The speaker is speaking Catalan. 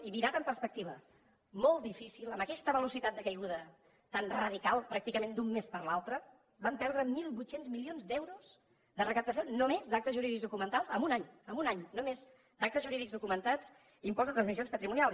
i mirat amb perspectiva molt difícil amb aquesta velocitat de caiguda tan radical pràcticament d’un mes per l’altre vam perdre mil vuit cents milions d’euros de recaptació només d’actes jurídics documentats en un any en un any només d’actes jurídics documentats i impost de transmissions patrimonials